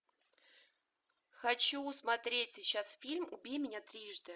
хочу смотреть сейчас фильм убей меня трижды